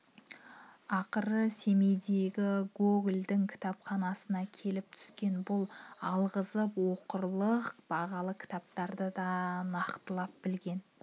ақыры семейдегі гогольдің кітапханасына келіп түскен бұл алғызып оқырлық бағалы кітаптарды да нақтылап білген